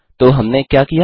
तो हमने क्या किया